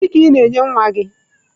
Gịnị ka ị na-enye nwa gị?